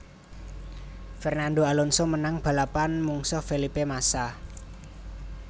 Fernando Alonso menang balapan mungsuh Felipe Massa